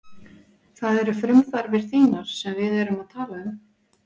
Það eru frumþarfir þínar sem við erum að tala um.